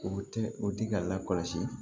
O tɛ o di ka lakɔlɔsi